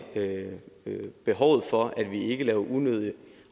behovet for at vi ikke laver unødig